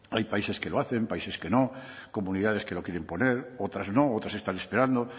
hay países que lo hacen países que no comunidades que lo quieren poner otras no otras están esperando